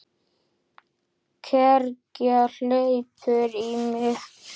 Kergja hleypur í mig.